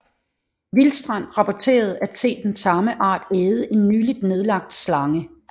Wistrand rapporterede at se den samme art æde en nyligt nedlagt slange